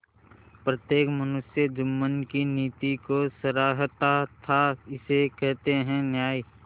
प्रत्येक मनुष्य जुम्मन की नीति को सराहता थाइसे कहते हैं न्याय